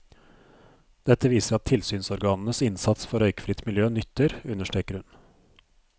Dette viser at tilsynsorganenes innsats for røykfritt miljø nytter, understreker hun.